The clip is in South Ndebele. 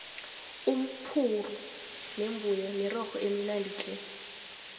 umphurhu nembuya mirorho eminadi tle